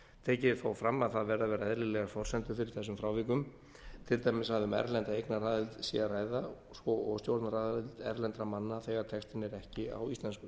tekið er þó fram að það verði að vera eðlilegar forsendur fyrir þessum frávikum til dæmis að um erlenda eignaraðild sé að ræða svo og stjórnaraðild erlendra manna þegar textinn er ekki á íslensku